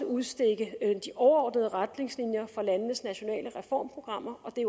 udstikke de overordnede retningslinjer for landenes nationale reformprogrammer og det